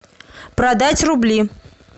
продать рубли